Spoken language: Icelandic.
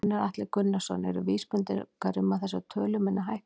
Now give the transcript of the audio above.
Gunnar Atli Gunnarsson: Eru vísbendingar um að þessar tölur muni hækka?